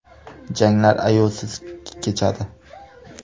Janglar ayovsiz kechadi.